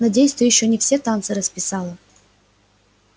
надеюсь ты ещё не все танцы расписала